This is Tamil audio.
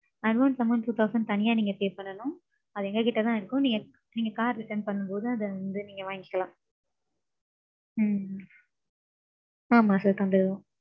advance amount two thousand தனியா நீங்க pay பண்ணனும். அது எங்க கிட்ட தான் இருக்கும். நீங்க நீங்க car return பண்ணும்போது அத வந்து நீங்க வாங்கிக்கலாம். ம்ம். ஆமாம் sir தந்துருவோம்.